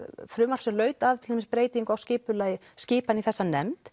frumvarp sem laut að til dæmis breytingum á skipulagi skipan í þessa nefnd